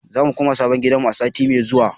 Zamu koma sabon gidanmu a sati mai zuwa.